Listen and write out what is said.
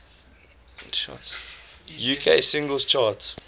uk singles chart